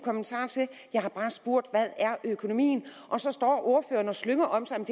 jeg har bare spurgt hvad er økonomien og så står ordføreren og slynger om sig